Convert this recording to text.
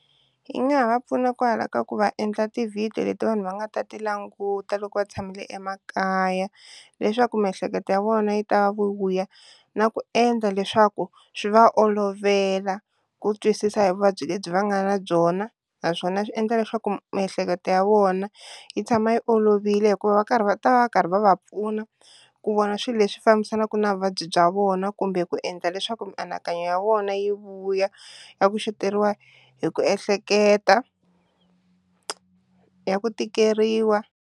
Yi nga ha va pfuna kwala ka ku va endla ti-video leti vanhu va nga ta ti languta loko va tshamile emakaya leswaku miehleketo ya vona yi ta vu vuya na ku endla leswaku swi va olovela ku twisisa hi vuvabyi lebyi va nga na byona, naswona swi endla leswaku miehleketo ya vona yi tshama yi olovile hikuva va karhi va ta va va karhi va va pfuna ku vona swilo leswi fambisanaku ku na vuvabyi bya vona kumbe ku endla leswaku mianakanyo ya vona yi vuya na ku xoteriwa hi ku ehleketa ya ku tikeriwa.